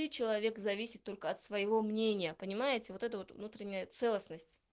и человек зависит только от своего мнения понимаете вот эта вот внутренняя целостность